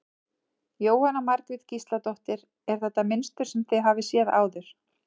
Jóhanna Margrét Gísladóttir: Er þetta mynstur sem þið hafið séð áður?